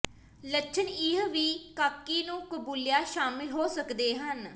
ਲੱਛਣ ਇਹ ਵੀ ਕਾਕੀ ਨੂੰ ਕਬੂਲਿਆ ਸ਼ਾਮਲ ਹੋ ਸਕਦੇ ਹਨ